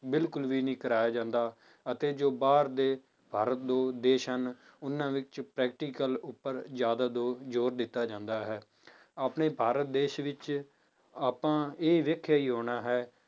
ਬਿਲਕੁਲ ਵੀ ਨਹੀਂ ਕਰਵਾਇਆ ਜਾਂਦਾ, ਅਤੇ ਜੋ ਬਾਹਰ ਦੇ ਭਾਰਤ ਦੇ ਦੇਸ ਹਨ, ਉਹਨਾਂ ਵਿੱਚ practical ਉੱਪਰ ਜ਼ਿਆਦਾ ਜੋ ਜ਼ੋਰ ਦਿੱਤਾ ਜਾਂਦਾ ਹੈ, ਆਪਣੇ ਭਾਰਤ ਦੇਸ ਵਿੱਚ ਆਪਾਂ ਇਹ ਵੇਖਿਆ ਹੀ ਹੋਣਾ ਹੈ